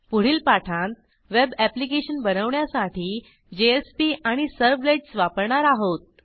पुढील पाठांत web application बनवण्यासाठी जेएसपी आणि सर्व्हलेट्स वापरणार आहोत